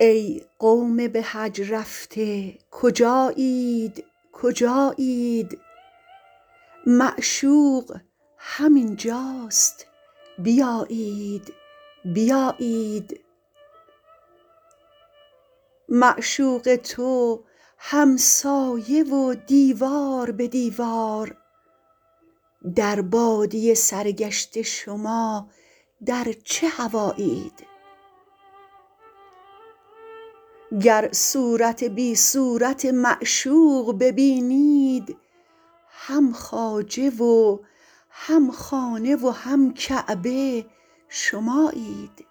ای قوم به حج رفته کجایید کجایید معشوق همین جاست بیایید بیایید معشوق تو همسایه و دیوار به دیوار در بادیه سرگشته شما در چه هوایید گر صورت بی صورت معشوق ببینید هم خواجه و هم خانه و هم کعبه شمایید